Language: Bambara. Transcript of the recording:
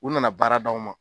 U nana baara d'anw ma